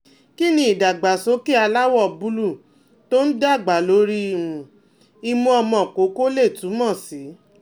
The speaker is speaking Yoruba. Kí ni idagbasoke aláwọ̀ búlúù tó ń dàgbà lórí um imu omo koko lè túmọ̀ sí?